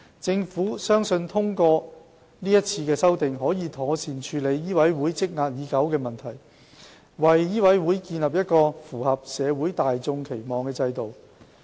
政府相信通過這次修訂，可以妥善處理醫委會積壓已久的問題，為醫委會建立一個符合社會大眾期望的制度。